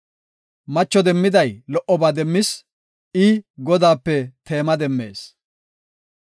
Macho demmiday lo77oba demmis; i, Godaape teema demmees.